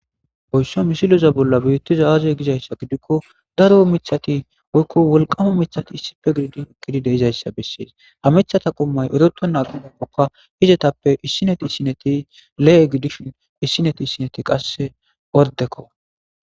Haysa mishiloza bolla biittiza aaazey gizayssa gidikko daro micthati oykko wolqama mithati issipe gididi ekkidi deizayssa bessees hamithata qommay eroto naqagppokka hizetappe issineti isineti le7e gidishin issineti issineti qasse ordekko